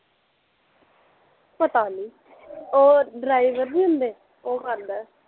ਪਤਾ ਨੀ ਓ ਡਰਾਇਵਰ ਨੀ ਹੁੰਦੇ, ਓਹ ਕਰਦਾ ਐ